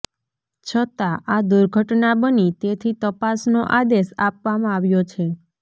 છતાં આ દુર્ઘટના બની તેથી તપાસનો આદેશ આપવામાં આવ્યો છે